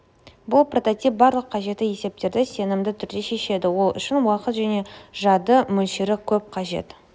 бұл прототип барлық қажетті есептерді сенімді түрде шешеді ол үшін уақыт және жады мөлшері көп қажет